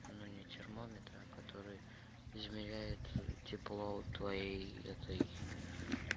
ну не термометр а который измеряет тепло твоей этой